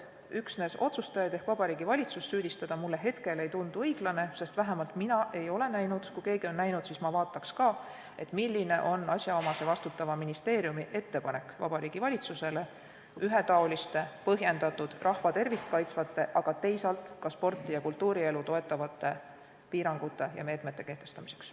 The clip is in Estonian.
Otsustajate ehk Vabariigi Valitsuse süüdistamine ei tundu õiglane, sest vähemalt mina ei ole näinud – kui keegi on näinud, siis ma vaataks ka –, milline on asjaomase vastutava ministeeriumi ettepanek Vabariigi Valitsusele ühetaoliste, põhjendatud, rahva tervist kaitsvate, aga teisalt ka sporti ja kultuurielu toetavate piirangute ja meetmete kehtestamiseks.